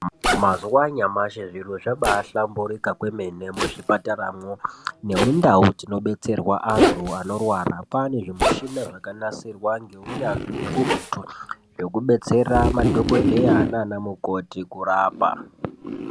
mazuwa anyamashi zviro zvabaahlamburuka kwemene muzvipataramwo nemundau dzinobetserwa antu anorwara kwaane zvimushina zvakanasirwa ngeunyanzvi ukurutu zvekubetsera madhokodheya nana mukoti kurapa.